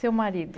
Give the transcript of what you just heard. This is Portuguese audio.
Seu marido.